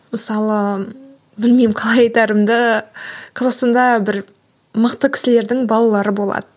мысалы білмеймін қалай айтарымды қазақстанда бір мықты кісілердің балалары болады